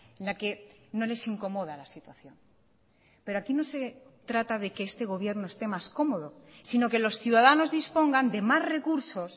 en la que no les incomoda la situación pero aquí no se trata de que este gobierno esté más cómodo sino que los ciudadanos dispongan de más recursos